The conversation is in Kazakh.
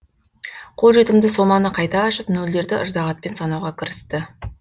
қолжетімді соманы қайта ашып нөлдерді ыждағатпен санауға кірісті